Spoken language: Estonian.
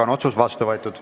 Otsus on vastu võetud.